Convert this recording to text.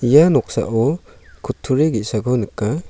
ia noksao kutturi ge·sako nika--